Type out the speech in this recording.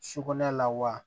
Sukunɛ la wa